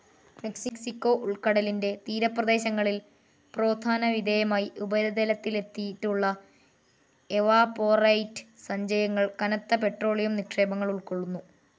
Mexico ഉൾക്കടലിന്റെ തീരപ്രദേശങ്ങളിൽ പ്രോത്ഥാനവിധേയമായി ഉപരിതലത്തിലെത്തിയിട്ടുള്ള എവാപൊറൈറ്റ് സഞ്ചയങ്ങൾ കനത്ത പെട്രോളിയം നിക്ഷേപങ്ങൾ ഉൾക്കൊള്ളുന്നു.